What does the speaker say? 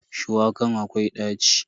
Shuwakan akwai ɗaci.